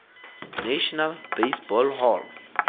national baseball hall